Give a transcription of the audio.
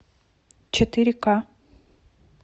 четыре к